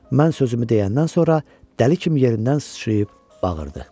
Mən sözümü deyəndən sonra dəli kimi yerindən sıçrayıb bağırdı.